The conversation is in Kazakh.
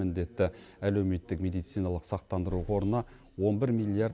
міндетті әлеуметтік медициналық сақтандыру қорына он бір миллиард